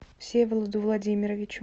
всеволоду владимировичу